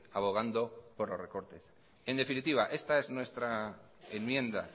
abogando por los recortes en definitiva esta es nuestra enmienda